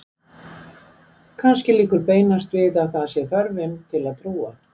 Kannski liggur beinast við að að það sé þörfin til að trúa.